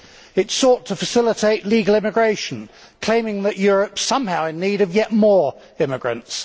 It sought to facilitate legal immigration, claiming that Europe is somehow in need of yet more immigrants.